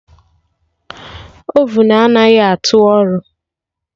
Ovun anaghị atụ ọrụ